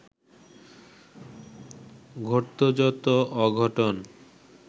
ঘটত যত অঘটন